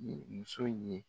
Muso ye.